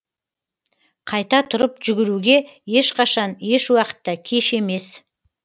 қайта тұрып жүгіруге ешқашан ешуақытта кеш емес